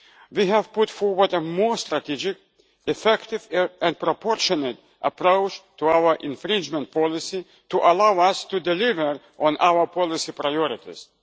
We have put forward a more strategic, effective and proportionate approach to our infringement policy to allow us to deliver on our policy priorities.